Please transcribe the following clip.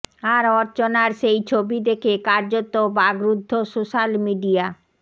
আর অর্চনার সেই ছবি দেখে কার্যত বাকরুদ্ধ সোশ্যাল মিডিয়া